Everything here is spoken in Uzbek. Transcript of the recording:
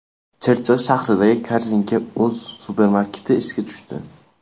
Chirchiq shahridagi Korzinka.uz supermarketi ishga tushdi.